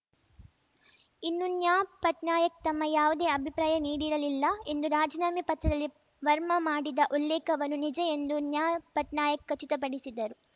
ಇನ್ನು ನ್ಯಾ ಪಟ್ನಾಯಕ್‌ ತಮ್ಮ ಯಾವುದೇ ಅಭಿಪ್ರಾಯ ನೀಡಿರಲಿಲ್ಲ ಎಂದು ರಾಜೀನಾಮೆ ಪತ್ರದಲ್ಲಿ ವರ್ಮಾ ಮಾಡಿದ ಉಲ್ಲೇಖವನ್ನು ನಿಜ ಎಂದು ನ್ಯಾ ಪಟ್ನಾಯಕ್‌ ಖಚಿತಪಡಿಸಿದರು